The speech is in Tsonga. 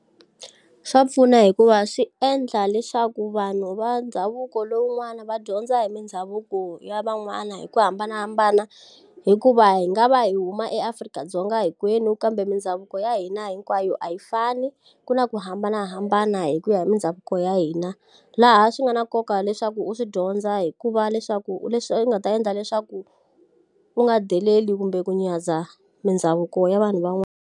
Swa pfuna hikuva swi endla leswaku vanhu va ndhavuko lowun'wani va dyondza hi mindhavuko ya van'wana hi ku hambanahambana hikuva hi nga va hi huma eAfrika-Dzonga hinkwenu kambe mindhavuko ya hina hinkwayo a yi fani ku na ku hambanahambana hi ku ya hi mindhavuko ya hina laha swi nga na nkoka leswaku u swi dyondza hikuva leswaku u leswi u nga ta endla leswaku u nga deleli kumbe ku nyadza mindhavuko ya vanhu van'wana.